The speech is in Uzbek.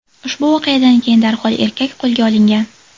Ushbu voqeadan keyin darhol erkak qo‘lga olingan.